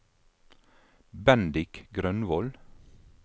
Bendik Grønvold